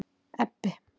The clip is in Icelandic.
Ebbi